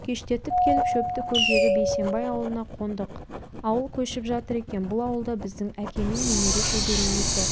кештетіп келіп шөптікөлдегі бейсембай ауылына қондық ауыл көшіп жатыр екен бұл ауылда біздің әкеймен немере-шөбере екі